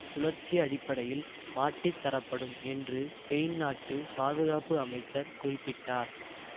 சுழற்சி அடிப்படையில் மாற்றித்தரப்படும் என்று ஸ்பெயின் நாட்டு பாதுகாப்பு அமைச்சர் குறிப்பிட்டார்